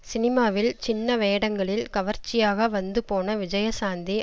சினிமாவில் சின்ன வேடங்களில் கவர்ச்சியாக வந்து போன விஜயசாந்தி